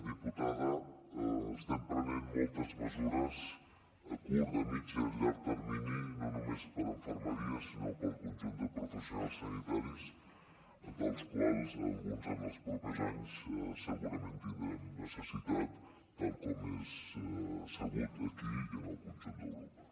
diputada estem prenent moltes mesures a curt a mitjà i a llarg termini no només per a infermeria sinó per al conjunt de professionals sanitaris dels quals d’alguns en els propers anys segurament en tindrem necessitat tal com és sabut aquí i en el conjunt d’europa